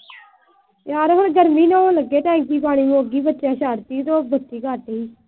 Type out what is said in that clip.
ਯਾਰ ਹੁਣ ਗਰਮੀ ਨਹਾਉਣ ਲੱਗੇ। ਟੈਂਕੀ ਪਾਣੀ ਦੀ ਮੁੱਕ ਗਈ ਤੇ ਉਹ ਬੱਚਿਆਂ ਨੇ ਛੱਡ ਤੀ ਤੇ